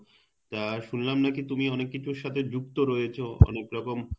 তা শুনলাম নাকি তুমি অনেক কিছুর সাথে যুক্ত রয়েছো অনেক রকম